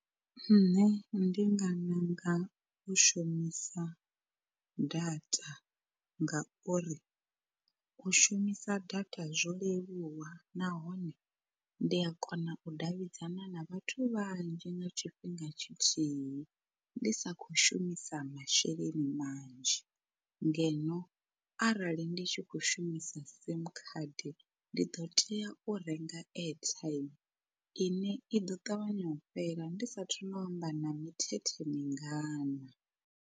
Nṋe ndi nga ṋanga u shumisa data ngauri, u shumisa data zwo leluwa nahone ndi a kona u davhidzana na vhathu vhanzhi nga tshifhinga tshithihi ndi sa khou shumisa masheleni manzhi, ngeno arali ndi tshi kho shumisa sim card ndi ḓo tea u renga airtime ine i ḓo ṱavhanya u fhela ndi sathu no amba na mithethe mingana.